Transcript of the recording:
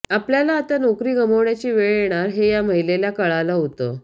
आपल्यावर आता नोकरी गमावण्याची वेळ येणार हे या महिलेला कळालं होतं